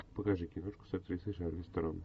покажи киношку с актрисой шарлиз терон